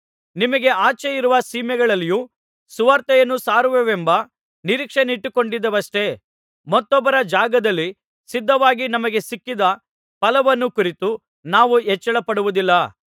ನಿಮಗೆ ಆಚೆಯಿರುವ ಸೀಮೆಗಳಲ್ಲಿಯೂ ಸುವಾರ್ತೆಯನ್ನು ಸಾರುವೆವೆಂಬ ನಿರೀಕ್ಷೆಯನ್ನಿಟ್ಟುಕೊಂಡಿದ್ದೆವಷ್ಟೇ ಮತ್ತೊಬ್ಬರ ಜಾಗದಲ್ಲಿ ಸಿದ್ಧವಾಗಿ ನಮಗೆ ಸಿಕ್ಕಿದ ಫಲವನ್ನು ಕುರಿತು ನಾವು ಹೆಚ್ಚಳಪಡುವುದಿಲ್ಲ